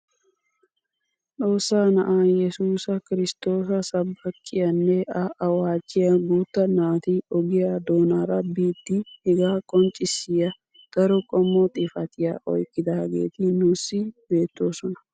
Xoossaa na'aa yesuusa kirsttoosa sabakkiyaanne a awaajjiyaa guutta naati ogiyaa doonara biidi hegaa qonccisiyaa daro qommo xifatiyaa oyqqidaageti nuusi bettoosona.